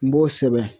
N b'o sɛbɛn